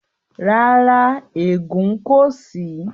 Rárá, ẹ̀gùn kò sí.